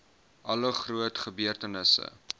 alle groot gebeurtenisse